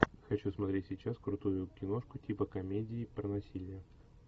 хочу смотреть сейчас крутую киношку типа комедии про насилие